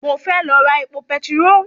Mo fẹ́ lọ ra epo petiró